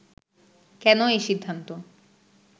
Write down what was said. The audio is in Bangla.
কেন এই সিদ্ধান্ত